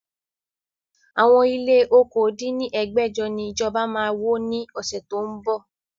Àwọn ilé okòó dín ní ẹgbẹ́jọ ni ìjọba máa wó ni ọ̀sẹ̀ tó ń bọ̀